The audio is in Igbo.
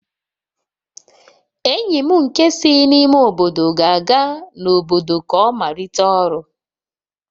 Enyi m nke si n'ime obodo ga-aga n'obodo ka ọ malite ọrụ